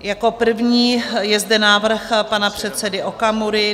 Jako první je zde návrh pana předsedy Okamury.